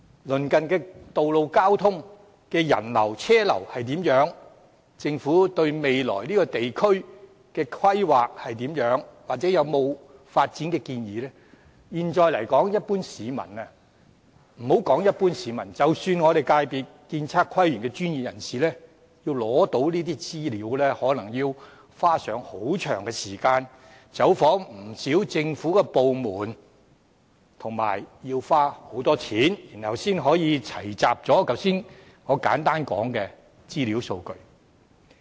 鄰近道路交通的人流和車流如何？政府未來對這個地區的規劃如何或有否發展建議？現在來說，一般市民——莫說一般市民，即使我們建築、測量、都市規劃及園境界別的專業人士——要取得這些資料，可能也要花上很長的時間，走訪不少政府部門，以及花很多金錢，才能齊集我剛才提到的資料數據。